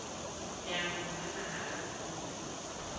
leanong la naha la puo